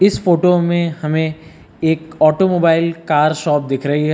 इस फोटो में हमें एक ऑटोमोबाइल कार शॉप दिख रही है।